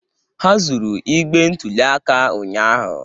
Ha zuru igbe ntụli aka ụnyahụ.